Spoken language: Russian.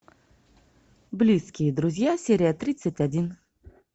близкие друзья серия тридцать один